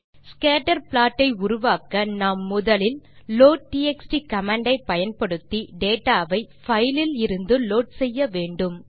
scatter plot ஐ உருவாக்க நாம் முதலில் லோட்ட்எக்ஸ்ட் கமாண்ட் ஐ பயன்படுத்தி டேட்டா வை பைல் இலிருந்து லோட் செய்ய வேண்டும்